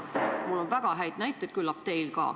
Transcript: Mul on selle kohta väga häid näiteid, küllap teil ka.